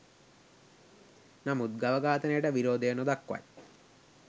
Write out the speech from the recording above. නමුත් ගව ඝාතනයට විරෝධය නොදක්වයි.